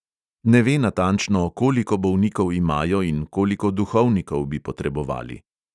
Ne ve natančno, koliko bolnikov imajo in koliko duhovnikov bi potrebovali.